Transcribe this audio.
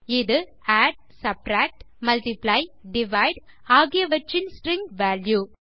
இது add subtract multiply divide ஆகியவற்றின் string value